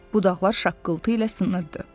budaqlar şaqqıltı ilə sınırdı.